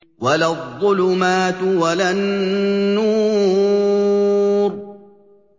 وَلَا الظُّلُمَاتُ وَلَا النُّورُ